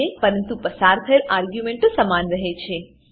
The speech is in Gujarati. પરંતુ પસાર થયેલ આર્ગ્યુંમેંટો સમાન રહે છે